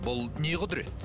бұл не құдірет